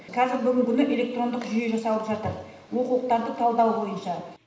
қазіргі күні электрондық жүйе жасалып жатыр оқулықтарды талдау бойынша